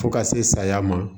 Fo ka se saya ma